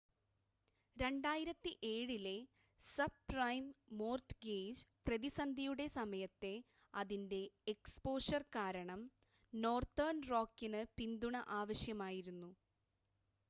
2007-ലെ subprime mortgage പ്രതിസന്ധിയുടെ സമയത്തെ അതിൻ്റെ എക്സ്പോഷർ കാരണം നോർത്തേൺ റോക്കിന് പിന്തുണ ആവശ്യമായിരുന്നു